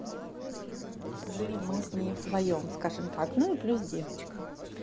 жили мы с ней вдвоём скажем так ну и плюс девочка